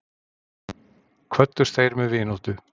Kvöddust þeir með vináttu.